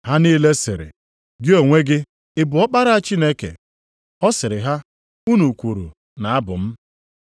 Ha niile sịrị, “Gị onwe gị, ị bụ Ọkpara Chineke?” Ọ sịrị ha, “Unu kwuru na Abụ m.”